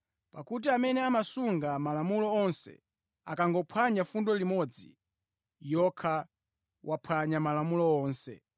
Pakuti amene amasunga Malamulo onse, akangophwanya fundo imodzi yokha, waphwanya Malamulo onse.